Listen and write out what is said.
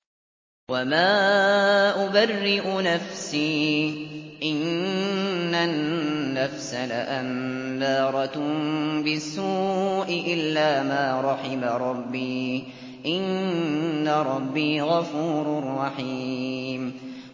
۞ وَمَا أُبَرِّئُ نَفْسِي ۚ إِنَّ النَّفْسَ لَأَمَّارَةٌ بِالسُّوءِ إِلَّا مَا رَحِمَ رَبِّي ۚ إِنَّ رَبِّي غَفُورٌ رَّحِيمٌ